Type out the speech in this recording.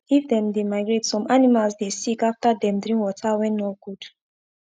if them dey migrate some animals dey sick after dem drink water wen nor good